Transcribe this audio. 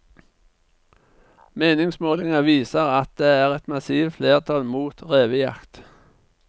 Meningsmålinger viser at det er et massivt flertall mot revejakt.